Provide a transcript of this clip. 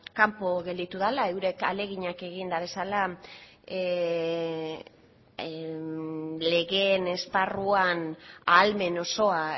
kanpo gelditu dela eurek ahaleginak egin dituztela legeen esparruan ahalmen osoa